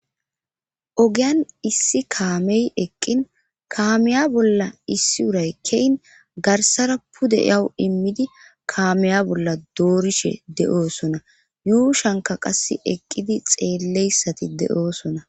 ogiyan issi kaamey eqqin kaameya bolla issi uray keyn garsara pude yawu immidi kaameya bolla doorishe de7oosona yuushanka qass eqqidi xeelleyssati de7oosona